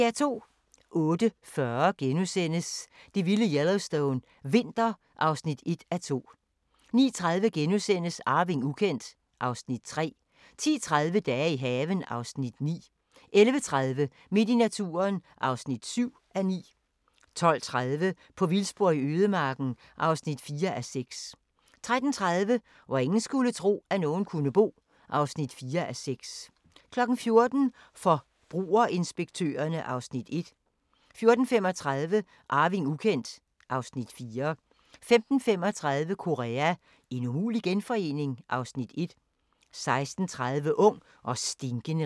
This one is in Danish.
08:40: Det vilde Yellowstone – vinter (1:2)* 09:30: Arving ukendt (Afs. 3)* 10:30: Dage i haven (Afs. 9)* 11:30: Midt i naturen (7:9) 12:30: På vildspor i ødemarken (4:6) 13:30: Hvor ingen skulle tro, at nogen kunne bo (4:6) 14:00: Forbrugerinspektørerne (Afs. 1) 14:35: Arving ukendt (Afs. 4) 15:35: Korea – en umulig genforening? (Afs. 1) 16:30: Ung og stinkende rig